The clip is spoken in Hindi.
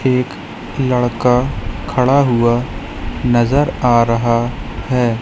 एक लड़का खड़ा हुआ नजर आ रहा है।